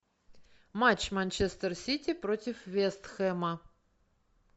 матч манчестер сити против вест хэма